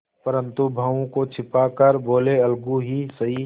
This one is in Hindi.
परंतु भावों को छिपा कर बोलेअलगू ही सही